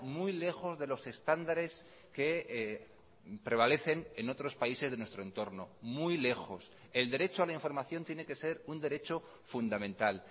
muy lejos de los estándares que prevalecen en otros países de nuestro entorno muy lejos el derecho a la información tiene que ser un derecho fundamental